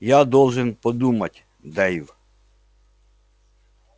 я должен подумать дейв